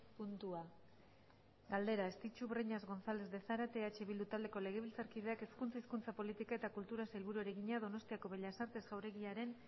puntua galdera estitxu breñas gonzález de zárate eh bildu taldeko legebiltzarkideak hezkuntza hizkuntza politika eta kulturako sailburuari egina donostiako bellas artes jauregiaren